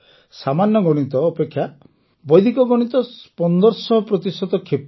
ସାମାନ୍ୟ ଗଣିତ ଅପେକ୍ଷା ବୈଦିକ ଗଣିତ ୧୫୦୦ ପ୍ରତିଶତ କ୍ଷୀପ୍ର